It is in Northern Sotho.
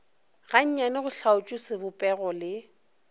gannyane go hlaotšwe sebopego le